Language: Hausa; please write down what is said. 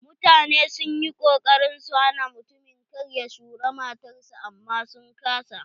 Mutane sun yi kokarin su hana mutumin kar ya shura matar shi amman sun ƙasa.